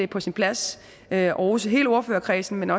på sin plads at rose hele ordførerkredsen men